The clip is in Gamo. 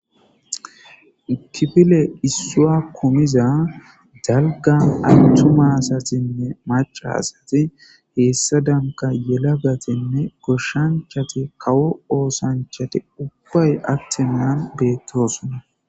Kifile issawa jumida daliga asati maca asati hesadanika yalaga asati goshachati kawo osanchati atenaa ubay betosona